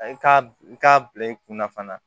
I k'a i k'a bila i kunna fana